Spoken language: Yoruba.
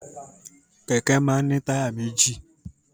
Kẹ̀kẹ́ máa ń ní táyà méjì.